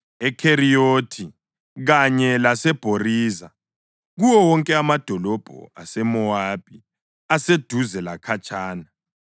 eKheriyothi kanye laseBhozira kuwo wonke amadolobho aseMowabi, aseduze lakhatshana.